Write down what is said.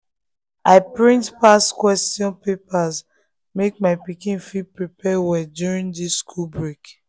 i print past question papers make my pikin fit prepare well during this school break.